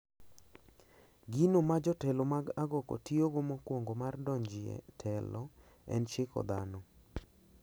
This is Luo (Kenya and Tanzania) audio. Gino ma jotelo mag agoko tiyogo mokwongo mar dong` e telo en chiko dhano.